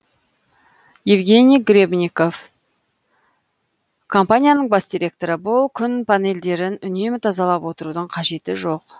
евгений гребенников компанияның бас директоры бұл күн панельдерін үнемі тазалап отырудың қажеті жоқ